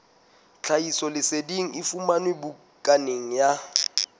tlhahisoleseding e fumanwe bukaneng ya